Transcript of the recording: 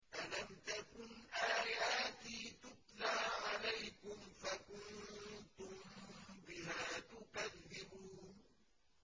أَلَمْ تَكُنْ آيَاتِي تُتْلَىٰ عَلَيْكُمْ فَكُنتُم بِهَا تُكَذِّبُونَ